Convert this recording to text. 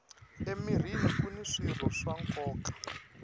emirhini kuni swirho swa nkoka